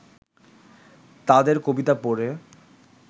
তাঁদের কবিতা পড়ে